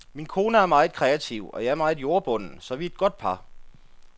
Min kone er meget kreativ og jeg er meget jordbunden, så vi er et godt par.